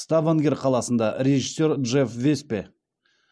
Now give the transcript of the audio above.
ставангер қаласында режиссер джефф веспе